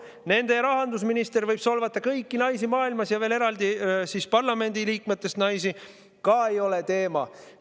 Nende rahandusminister võib solvata kõiki naisi maailmas ja veel eraldi parlamendiliikmetest naisi – ka ei ole teema.